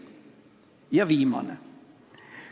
Ja viimane.